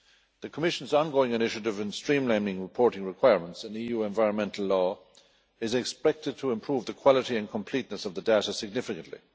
The Commission's ongoing initiative in streamlining reporting requirements in EU environmental law is expected to improve the quality and completeness of the data significantly.